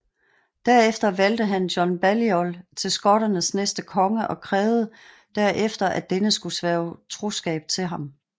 Derefter valgte han John Balliol til skotternes næste konge og krævede derefter at denne skulle sværge troskab til ham